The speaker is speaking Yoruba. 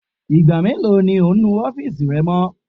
Igba melo ni o nu ọfiisi rẹ mọ?